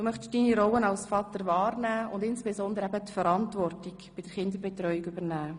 Du möchtest deine Rolle als Vater wahrnehmen und insbesondere Verantwortung bei der Kinderbetreuung übernehmen.